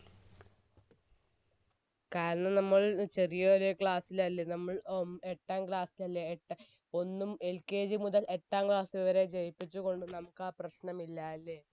കാരണം നമ്മൾ ചെറിയൊരു class ലല്ലേ നമ്മൾ ഏർ എട്ടാം class ലല്ലേ എട്ടാം ഒന്നും LKG മുതൽ എട്ടാം class വരെ ജയിപ്പിച്ചുകൊണ്ട് നമുക്ക് ആ പ്രശ്നം ഇല്ലാ അല്ലെ